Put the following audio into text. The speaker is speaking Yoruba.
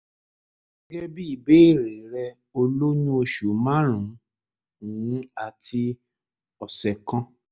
gẹ́gẹ́ bí ìbéèrè rẹ o lóyún oṣù márùn-ún àti ọ̀sẹ̀ kan